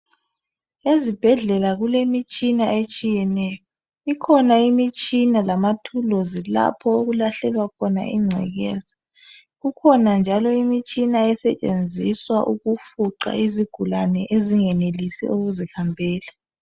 Ezibhedlela kulemitshina etshiyeneyo , ikhona imitshina lamathuluzi lapho okulahlelwa khona ingcekeza kukhona njalo imitshina esetshenziswa ukufuqa izigulane ezingenelisi ukuzihambela